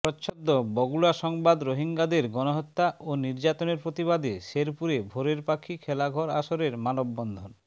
প্রচ্ছদ বগুড়া সংবাদ রোহিঙ্গাদের গনহত্যা ও নির্যাতনের প্রতিবাদে শেরপুরে ভোরের পাখি খেলাঘর আসরের মানববন্ধন